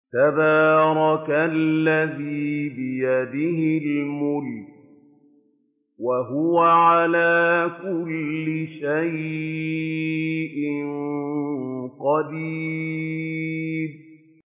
تَبَارَكَ الَّذِي بِيَدِهِ الْمُلْكُ وَهُوَ عَلَىٰ كُلِّ شَيْءٍ قَدِيرٌ